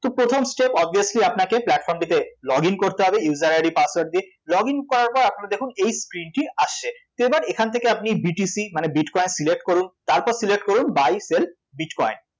তো প্রথম step obviously আপনাকে platform টিতে log in করতে হবে user ID password দিয়ে log in করার পর আপনারা দেখুন এই পৃষ্ঠাটি আসছে তো এবার এখান থেকে আপনি BTC মানে bitcoin select করুন